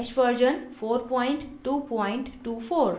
* gnu bash version 4224